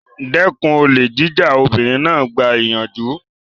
Dẹ́kun olè jíjà! Obìnrin náà gba ìyànjú.